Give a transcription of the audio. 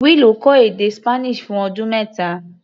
Willow kọ́ èdè Spanish fún ọdún mẹ́ta.